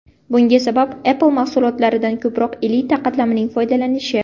Bunga sabab Apple mahsulotlaridan ko‘proq elita qatlamning foydalanishi.